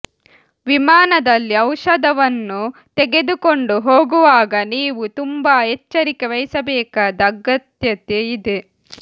ವಿಮಾನದಲ್ಲಿ ಔಷಧವನ್ನು ತೆಗೆದುಕೊಂಡು ಹೋಗುವಾಗ ನೀವು ತುಂಬಾ ಎಚ್ಚರಿಕೆ ವಹಿಸಬೇಕಾದ ಅಗತ್ಯತೆ ಇದೆ